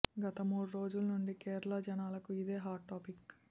గత మూడు రోజుల నుంచి కేరళ జనాలకు ఇదే హాట్ టాపిక్